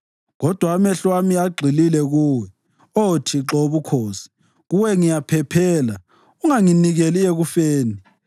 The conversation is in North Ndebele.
Kodwa amehlo ami agxile kuwe, Oh Thixo woBukhosi; kuwe ngiyaphephela unganginikeli ekufeni.